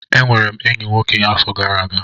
Enwere m enyi nwoke afọ gara aga.